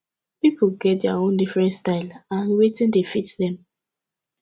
pipo get their own different style and wetin dey fit them